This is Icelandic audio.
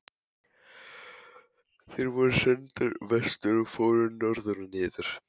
THEODÓRA: Þér voruð sendur vestur og fóruð norður og niður!